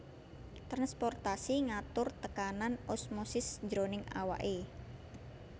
Transportasi ngatur tekanan osmosis jroning awake